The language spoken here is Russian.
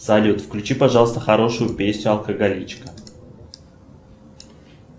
салют включи пожалуйста хорошую песню алкоголичка